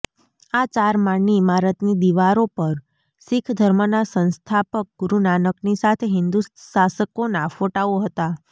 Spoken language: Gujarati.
આ ચાર માળની ઈમારતની દિવરો પર સિખ ધર્મના સંસ્થાપક ગુરુનાનકની સાથે હિન્દુશાસકોના ફોટાઓ હતા